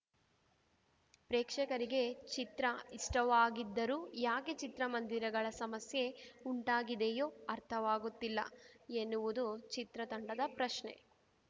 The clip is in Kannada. ಪ್ರೇಕ್ಷಕರಿಗೆ ಚಿತ್ರ ಇಷ್ಟವಾಗಿದ್ದರೂ ಯಾಕೆ ಚಿತ್ರಮಂದಿರಗಳ ಸಮಸ್ಯೆ ಉಂಟಾಗಿದೆಯೋ ಅರ್ಥವಾಗುತ್ತಿಲ್ಲ ಎನ್ನುವುದು ಚಿತ್ರ ತಂಡದ ಪ್ರಶ್ನೆ